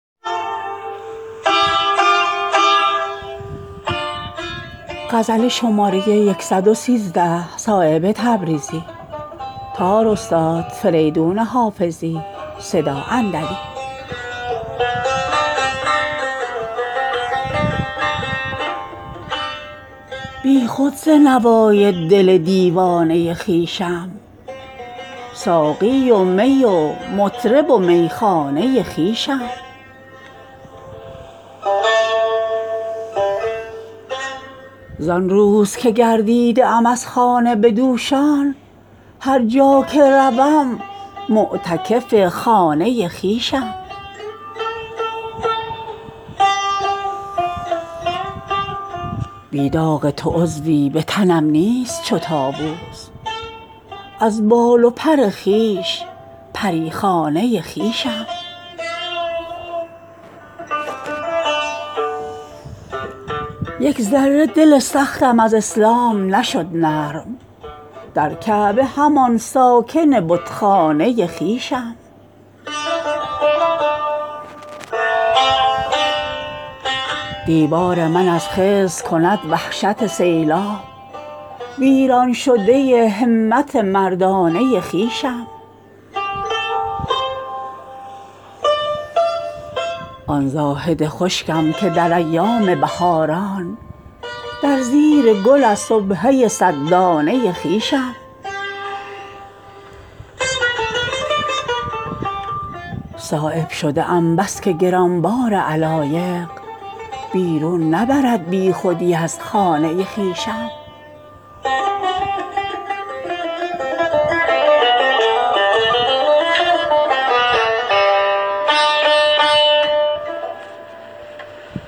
بیاض گردن او دست من ز کار برد بیاض خوش قلم از دست اختیار برد بجز خط تو کز او چشمها شود روشن که دیده گرد که از دیده ها غبار برد به خون کسی که تواند خمار خویش شکست چرا به میکده دردسر خمار برد نشسته است به خون گرچه هیچ کس خون را مرا غبار ز دل سیر لاله زار برد ز ضعف تن به زمین نقش بسته ام صایب مگر مرا تپش دل به کوی یار برد